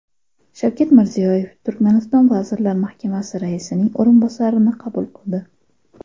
Shavkat Mirziyoyev Turkmaniston Vazirlar Mahkamasi raisining o‘rinbosarini qabul qildi.